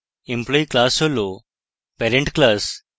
employee class হল parent class